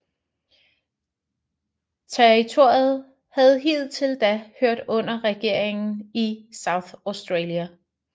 Territoriet havde indtil da hørt under regeringen i South Australia